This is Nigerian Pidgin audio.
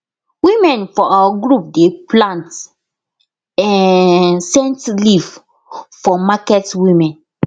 women for our group dey plant um scent leave for market women